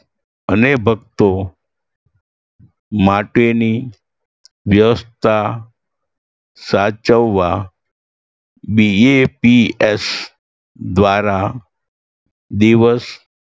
અને ભક્તો માટેની વ્યવસ્થા સાચવવવા BAPS દ્વારા દિવસ